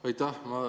Aitäh!